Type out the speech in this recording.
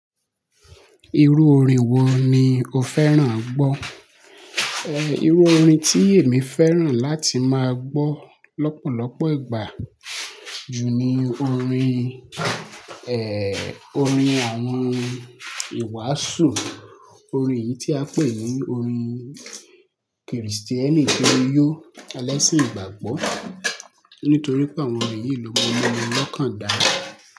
Irú orin wo ni o fẹ́ràn gbọ́? Ẹhn, irú orin tí èmi fẹ́ràn láti máa gbọ́ lọ́pọ̀lọpọ̀ ìgbà, ju ni orin, ẹ, orin àwọn ìwàásù. Orin yìí tí a n pè ní orin Krìstíẹ́nì kiriyó elẹ́sìn ìgbàgbọ́. Nítorí pé àwọn orin yìí lọ́múmúmú lọ́kàn dá.